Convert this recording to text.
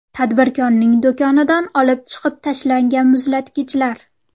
Tadbirkorning do‘konidan olib chiqib tashlangan muzlatgichlar.